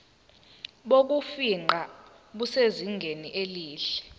bokufingqa busezingeni elihle